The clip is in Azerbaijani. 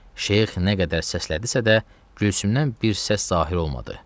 Şeyx nə qədər səslədisə də, Gülsümdən bir səs zahir olmadı.